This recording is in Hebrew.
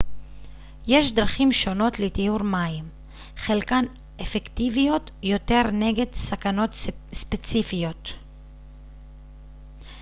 יש דרכים שונות לטיהור מים חלקן אפקטיביות יותר נגד סכנות ספציפיות